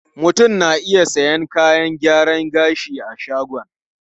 Mutum na iya sayan kayan gyaran gashi a shagon.